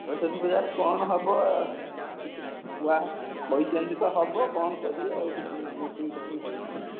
ସରସ୍ୱତୀ ପୂଜା ରେ କଣ ହବ? କିଛି କୁହା କହିଛନ୍ତି ତ ହବ କଣ କରିବେ ଆଉ କିଛି meeting ଫିଟିଙ୍ଗ ହେଇନି